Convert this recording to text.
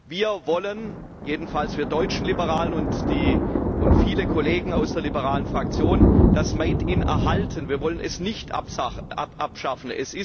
Wir wollen jedenfalls wir deutschen Liberalen und viele Kollegen aus der liberalen Fraktion das Made in erhalten. Wir wollen es nicht abschaffen.